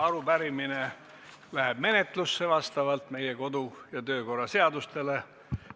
Arupärimine läheb menetlusse vastavalt meie kodu- ja töökorra seadusele.